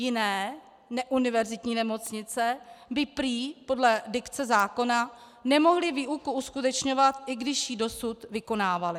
Jiné, neuniverzitní nemocnice by prý podle dikce zákona nemohly výuku uskutečňovat, i když ji dosud vykonávaly.